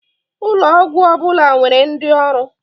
Ụlọ ọgwọ ọbụla nwere ndi ọrụ.